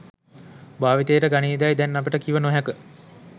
භාවිතයට ගනීදැයි දැන් අපට කිව නොහැක.